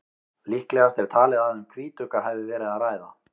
líklegast er talið að um hvítugga hafi verið að ræða